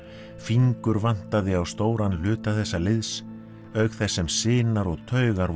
fingur vantaði á stóran hluta þessa liðs auk þess sem sinar og taugar voru